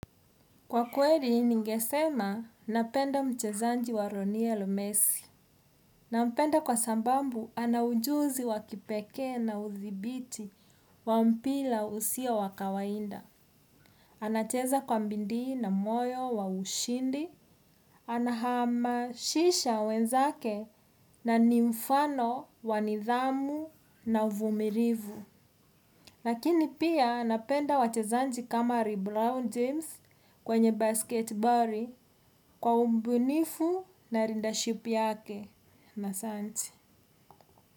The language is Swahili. Kwa kweli ningesema napenda mchezaji wa Lionel Messi. Nampenda kwa sababu ana ujuzi wakipekee na udhibiti wa mpira usio wa kawaida. Anacheza kwa bidii na moyo wa ushindi. Anahamasisha wenzake na ni mfano wa nidhamu na uvumilivu. Lakini pia napenda wachezaji kama Lebron James kwenye basket boli kwa ubunifu na 'leadership' yake. Asanti.